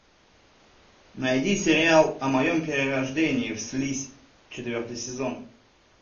найди сериал о моем перерождении в слизь четвертый сезон